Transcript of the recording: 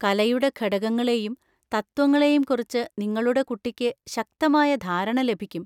കലയുടെ ഘടകങ്ങളെയും തത്വങ്ങളെയും കുറിച്ച് നിങ്ങളുടെ കുട്ടിക്ക് ശക്തമായ ധാരണ ലഭിക്കും.